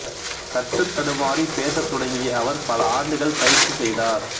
தட்டுத் தடுமாறி பேசத் தொடங்கிய அவர் பல ஆண்டுகள் பயிற்சி செய்தார்